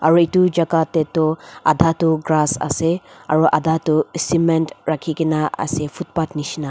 aru etu jagah te tu adha tu grass ase aru adha tu sement rakhi kina ase footpath nisna.